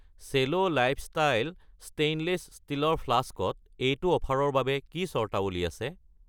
চেলো lifestyle stainless ষ্টীলৰ flask ত এইটো অফাৰৰ বাবে কি চৰ্তাৱলী আছে?